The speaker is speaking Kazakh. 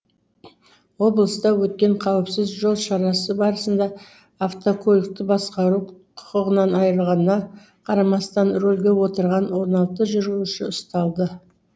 облыста өткен қауіпсіз жол шарасы барысында автокөлікті басқару құқығынан айырылғанына қарамастан рөлге отырған он алты жүргізуші ұсталды